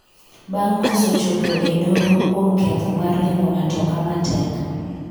bang' koso chopo e doho kuom ketho mar riembo matoka matek